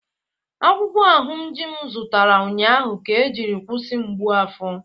Akwukwo ahunji m zụtara ụnyaahụ ka ejiri kwụsị mgbu afọ